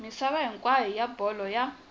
misava hinkwayo wa bolo ya